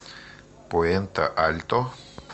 пуэнте альто